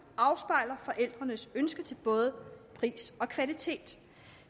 afspejler forældrenes ønsker til både pris og kvalitet